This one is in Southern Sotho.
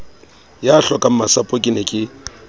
ya hlokangmasapo ke ne ke